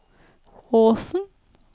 Åsen